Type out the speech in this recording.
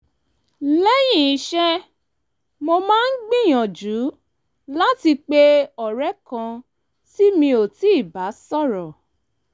lẹ́yìn iṣẹ́ mo máa ń gbìyànjú láti pe ọ̀rẹ́ kan tí mi ò tíì bá sọ̀rọ̀